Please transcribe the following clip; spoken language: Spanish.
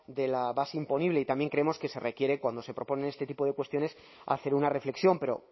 de la base imponible y también creemos que se requiere cuando se proponen este tipo de cuestiones hacer una reflexión pero